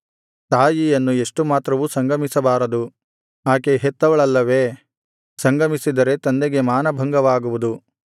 ತಾಯಿಯನ್ನು ಎಷ್ಟು ಮಾತ್ರವೂ ಸಂಗಮಿಸಬಾರದು ಆಕೆ ಹೆತ್ತವಳಲ್ಲವೇ ಸಂಗಮಿಸಿದರೆ ತಂದೆಗೆ ಮಾನಭಂಗವಾಗುವುದು